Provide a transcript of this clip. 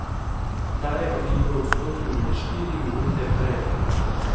Ta je v igro vstopil le štiri minute prej.